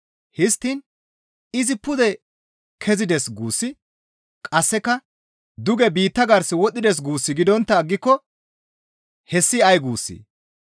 Histtiin, «Izi pude kezides» guussi qasseka duge biitta gars wodhdhides guus gidontta aggiko hessi ay guussee?